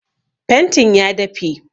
Fentin ya dafe